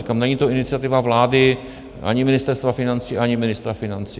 Říkám, není to iniciativa vlády ani Ministerstva financí ani ministra financí.